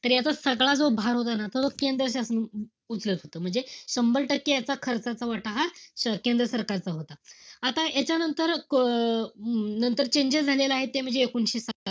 तर याचा सगळा जो भार होता ना, तो केंद्र शासन उचलत होता. शंभर टक्के याचा खर्चाचा वाटा हा केंद्र सरकारचा होता. आता यांच्यानंतर अं नंतर changes झालेले आहेत ते म्हणजे एकोणीशे,